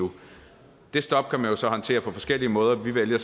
nu det stop kan man jo så håndtere på forskellige måder vi vælger